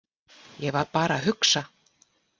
Ég var bara að hugsa.